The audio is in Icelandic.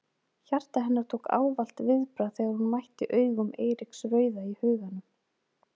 Hjarta hennar tók ávallt viðbragð þegar hún mætti augum Eiríks rauða í huganum.